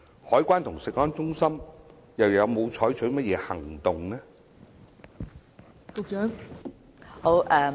海關和食安中心有否採取任何行動？